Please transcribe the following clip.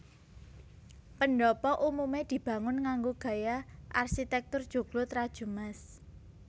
Pendhapa umume dibangun nganggo gaya arsitektur joglo trajumas